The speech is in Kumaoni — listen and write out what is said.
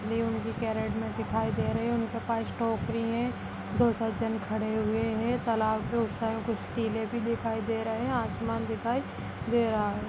मुझे उनकी कैरेट में दिखाई दे रहे है उनके पास टोकरी है दो सज्जन खड़े हुए हैं तालाब के उस साइड कुछ टिल्ले भी दिखाई दे रहे हैं आसमान दिखाई दे रहा है।